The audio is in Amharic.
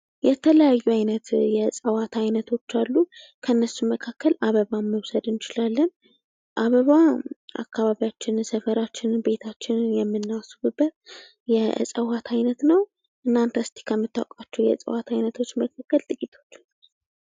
የተለያዩ ዓይነት የእፅዋት አይነቶች አሉ። ከነሱም መካከል አበባን መውሰድ እንችላለን። አበባ አካባቢያችንን ፣የሰፈራችንን፣ ቤታችንን የምናስውብበት የዕፀዋት አይነት ነው። እናንተ እስኪ ከምታውቋቸው የእፅዋት አይነቶች መካከል ጥቂቶቹን ጥቀሱ።